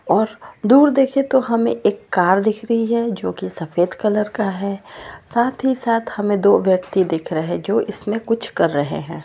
और दूर देखे तो हमे कार दिख रही है जो की सफेद कलर का है साथ ही साथ हमे दो व्यक्ति दिख रहे है जो कुछ कर रहे है।